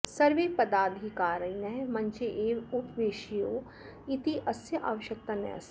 सर्वे पदाधिकारिणः मञ्चे एव उपविशेयुः इत्यस्य आवश्यकता नास्ति